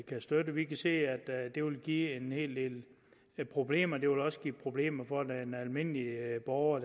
kan støtte vi kan se at det vil give en hel del problemer det vil også give problemer for den almindelige borger